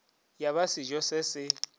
ya ba sejo se se